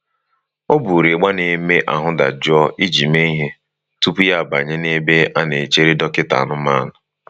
O buru ịgba na eme ahụ́ dajụọ iji mee ihe tupu ya abanye n'ebe a na-echere dọkịta anụmanụ